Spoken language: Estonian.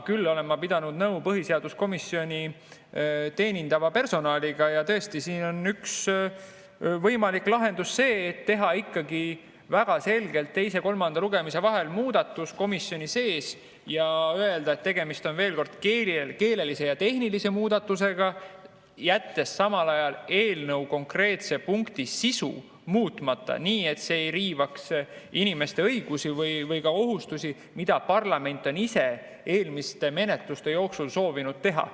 Küll olen ma aga pidanud nõu põhiseaduskomisjoni teenindava personaliga ja tõesti, siin on üks võimalik lahendus see, et teha ikkagi väga selgelt teise ja kolmanda lugemise vahel komisjonis muudatus ja öelda, et tegemist on keelelise ja tehnilise muudatusega, jättes samal ajal eelnõu konkreetse punkti sisu muutmata, nii et see ei riivaks inimeste õigusi või ka kohustusi, mida parlament on ise eelmiste menetluste jooksul soovinud anda.